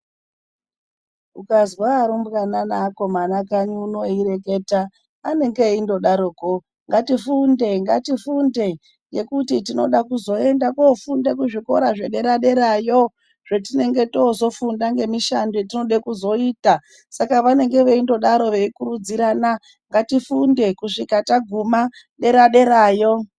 Ukazwa arumbwana neakomana kanyi uno eireketa anenge eingodaroko "ngatifunde ngatifunde ngekuti tinoda kuzoenda kofunda kuzvikora zvedera derayo zvetinenge tofunda zvetinoda kuzoita" ,saka vanenge veindodaro veikurudzirana ngatifunde kusvika taguma dera derayo.